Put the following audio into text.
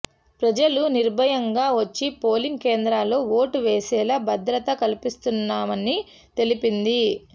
ప్రజలు నిర్భయంగా వచ్చి పోలింగ్ కేంద్రాల్లో ఓటు వేసేలా భద్రత కల్పిస్తున్నామని తెలిపింది